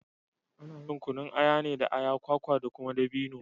Ana yin kunun aya ne da aya, kwaka da kuma dabino.